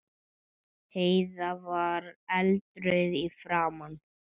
Heiða var eldrauð í framan.